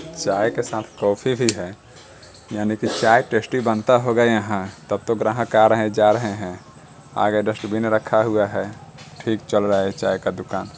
चाय के साथ काफ़ी भी है। यानिकी चाय टेस्टी बनता होगा यहाँ तभ तो ग्राहक आ रहे हे और जा रहे हे आगे डस्टबिन रखा हुआ है। ठीक चल रहा है ये चाय का दुकान।